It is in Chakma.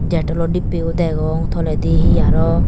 dettol o dibbeyo degong toledi he aro.